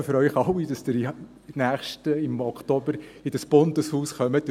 Ich hoffe für Sie alle, dass Sie im Oktober ins Bundeshaus kommen.